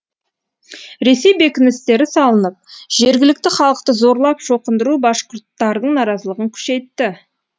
ресей бекіністері салынып жергілікті халықты зорлап шоқындыру башқұрттардың наразылығын күшейтті